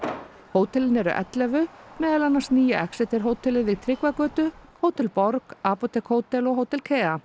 hótelin eru ellefu meðal annars nýja hótelið við Tryggvagötu Hótel borg apótek hótel og Hótel